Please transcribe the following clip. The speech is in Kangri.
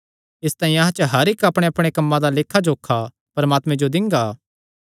इसतांई अहां च हर इक्क अपणेअपणे कम्मां दा लेखा जोखा परमात्मे जो दिंगा